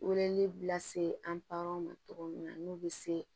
Weleli bila se an pa ma cogo min na n'u bɛ se